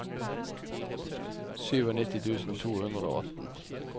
nittisju tusen to hundre og atten